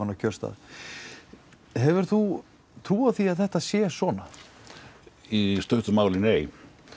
á kjörstað hefur þú trú á því að þetta sé svona í stuttu máli nei